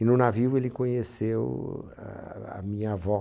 E no navio ele conheceu a... a minha avó.